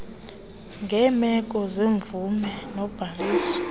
ngeemeko zemvume nobhaliso